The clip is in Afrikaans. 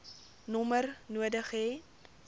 nommer nodig hê